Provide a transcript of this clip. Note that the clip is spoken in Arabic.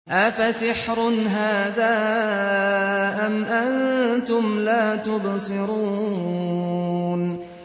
أَفَسِحْرٌ هَٰذَا أَمْ أَنتُمْ لَا تُبْصِرُونَ